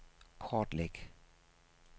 kortlæg